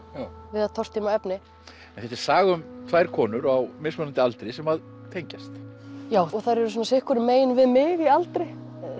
við að tortíma efni en þetta er saga um tvær konur á mismunandi aldri sem tengjast já og þær eru svona sitt hvoru megin við mig í aldri